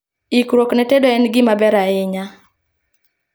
Ikruok ne tedo en gima ber ahinya